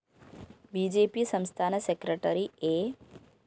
B J P സംസ്ഥാന secretary A